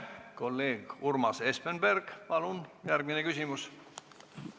Kolleeg Urmas Espenberg, palun järgmine küsimus!